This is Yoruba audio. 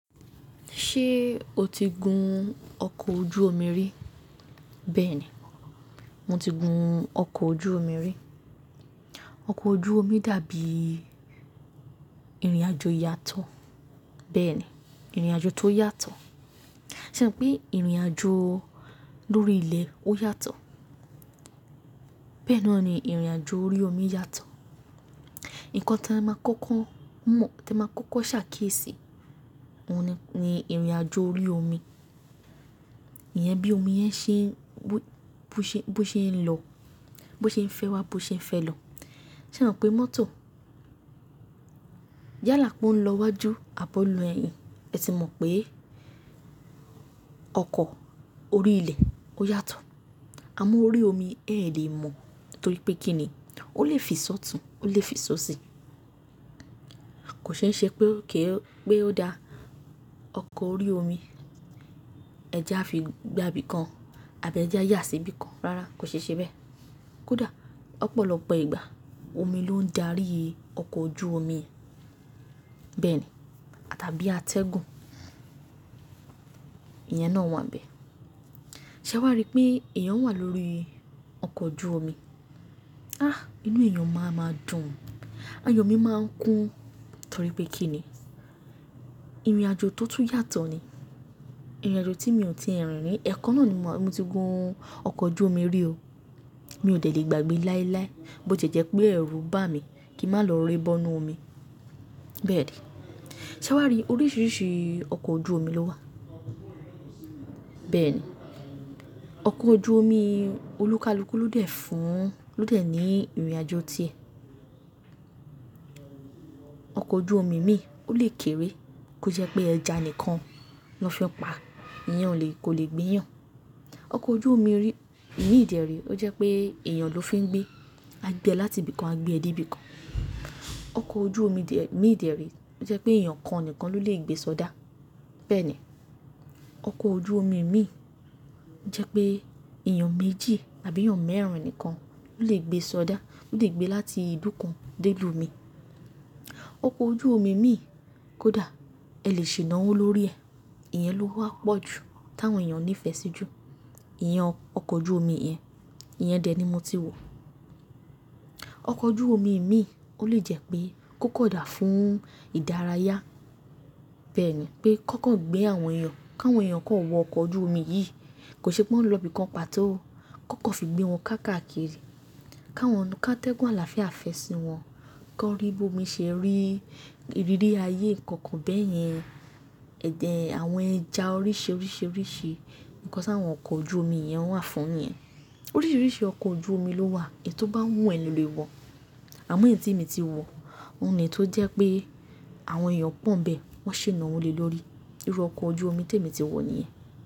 Ṣé o ti gun ọkọ̀ ojú omi rí? Bẹ́ẹ̀ni, mo ti gun ọkọ̀ ojú omi rí. Ọkọ̀ ojú omi dàbí ìrìnàjò yàtọ̀. Bẹ́ẹ̀ni, ìrìnàjò tó yàtọ̀. Ṣé ẹ rò pé ìrìnàjò lórí ilẹ̀ ó yàtọ̀? Bẹ́ẹ̀ noni ìrìn àjò orí omí yàtọ̀. Ǹkan tí ẹ máa kọ́kọ́ mọ̀, tí ẹ máa kọ́kọ́ ṣàkíyèsí, òun ni ìrìnàjò orí omi. Ìyẹn bí omi yẹn ṣe bú ṣe, bú ṣe ń lọ, bú ṣe ń fẹ́ wá, bú ṣe ń fẹ́ lọ. Ṣé ẹ rò pé mọ́tò yálà pe ó ń lọ wájú abọ́ lọ ẹ̀yìn, ẹ ti mọ̀ pé ọkọ̀ orí ilẹ̀ ó yàtọ̀. Àmọ́ orí omi ẹ̀ lè mọ̀ torípé kín ní ó lè fi sọ́tùn, ó lè fi sọ́si. Kò ṣeéṣe pé ó ké, pé ó da ọkọ̀ orí omi ẹja fi gba ibìkan àbí ẹja yà sí ibìkan. Rárá, kò ṣeéṣe bẹ́ẹ̀. Kódà ọ̀pọ̀lọpọ̀ ìgbà, omi ló ń darí ọkọ̀ ojú omi. Bẹ́ẹ̀ni tàbí atẹ́gùn ìyẹn nà wa n bè. Ṣé wàá rí pé èèyàn wà lórí ọkọ̀ ojú omi? Á, inú èyán mà máa dùn, ayọ̀ mi máa ń kún. Torípé kín ní ìrìnàjò tó tún yàtọ̀ ni. Ìrìnàjò tí mi ò tíì rí rí. Ẹ̀kan náà ni mo, mo ti gun ọkọ̀ ojú omi rí o. Mi ò dẹ̀ lè gbàgbé láíláí bó ti jẹ́ pé ẹ̀rù bá mi kí ń má lọ rere bọ́nù omi. Bẹ́ẹ̀ ni. Ṣé wàá rí oríṣìíríṣìí ọkọ̀ ojú omi ló wà? Bẹ́ẹ̀ ni. Ọkọ̀ ojú omi olúkalúkú ló dẹ̀ fún, ló dẹ̀ ní ìrìnàjò ti ẹ. Ọkọ̀ ojú omi míì ó lè kéré kó jẹ́ pé ẹja nìkan lọ fẹ́ pa, ìyẹn ò lè kó lè gbéyàn. Ọkọ̀ ojú omi rí, mìí dẹ́rẹ́ ó jẹ́ pé èèyàn ló fi ń gbé. A gbé ẹ láti ibìkan, a gbé ẹ dé ibìkan. Ọkọ̀ ojú omi ìdẹ́rẹ́ ó jẹ́ pé èèyàn kan nìkan ló lè gbé sọ́dá. Bẹ́ẹ̀ ni. Ọkọ̀ ojú omi mìí ó jẹ́ pé èèyàn méjì àbí èèyàn mẹ́rin nìkan ló lè gbé sọ́dá. Ó lè gbé ẹ láti ibìkan dé ìlú omi. Ọkọ̀ ojú omi mìí kódà ẹ lè ṣènà wọ́ lórí ẹ̀. Ìyẹn ló wá pọ̀ jù tí àwọn èèyàn ní ìfẹ́ sí jù. Ìyẹn ọkọ̀ ojú omi yẹn. Ìyẹn dè ní mo ti wò. Ọkọ̀ ojú omi mìí ó lè jẹ́ pé kó kọ̀dà fún ìdárayá. Bẹ́ẹ̀ ni pé kọ́kọ́ gbé àwọn èèyàn, káwọn èèyàn kó wọ ọkọ̀ ojú omi yìí, kò ṣe pé wọ́n ó lọ ibìkan pàtó. Kọ́kọ́ fi gbé wọn káàkiri, káwọn nu káàtẹ́gùn àlàáfíà, àfẹ́sì wọn, kó rí bí omi ṣe rí, ìrírí ayé ǹkan kan bẹ́ẹ̀ yẹn. Àwọn ẹja oríṣiiríṣii nǹkan tí àwọn ọkọ̀ ojú omi yẹn wà fún nìyẹn. Oríṣìíríṣìí ọkọ̀ ojú omi ló wà èyí tó bá wù ẹ́ lọ lè wọ̀. Àmọ́ èyí tí èmi ti wọ̀, òun ni tó jẹ́ pé àwọn èèyàn pọ̀ ń bẹ, wọ́n ṣe é na wọ lé lórí. Irú ọkọ̀ ojú omi tí èmi ti wọ̀ nìyẹn.